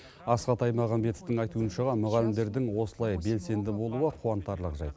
асхат аймағамбетовтің айтуынша мұғалімдердің осылай белсенді болуы қуантарлық жайт